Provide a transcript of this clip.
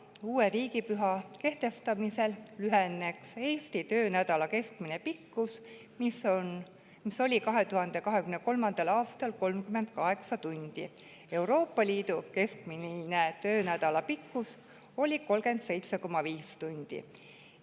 Uue riigipüha kehtestamisel lüheneks Eesti töönädala keskmine pikkus, mis oli 2023. aastal 38 tundi, Euroopa Liidu keskmine töönädala pikkus oli 37,5 tundi.